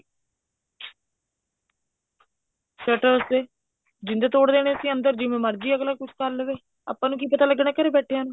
shutter ਦੇ ਜਿੰਦੇ ਤੋੜ ਦੇਣੇ ਸੀ ਅੰਦਰ ਜਿਵੇਂ ਮਰਜ਼ੀ ਅੱਗਲਾ ਕੁੱਛ ਕਰ ਲਵੇ ਆਪਾਂ ਨੂੰ ਕੀ ਪਤਾ ਲੱਗਣਾ ਘਰ ਬੈਠਿਆਂ ਨੂੰ